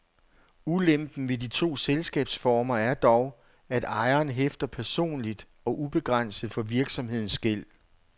Ulempen ved de to selskabsformer er dog, at ejeren hæfter personligt og ubegrænset for virksomhedens gæld.